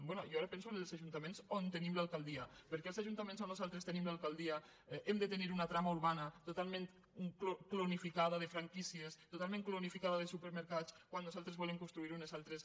bé jo ara penso en els ajuntaments on tenim l’alcal·dia perquè els ajuntaments on nosaltres tenim l’al caldia hem de tenir una trama urbana totalment clonifica·da de franquícies totalment clonificada de super·mercats quan nosaltres volem construir unes altres